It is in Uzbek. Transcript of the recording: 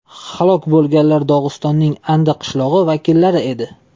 Halok bo‘lganlar Dog‘istonning Andi qishlog‘i vakillari edi.